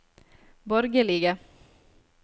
borgerlige